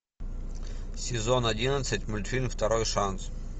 сезон одиннадцать мультфильм второй шанс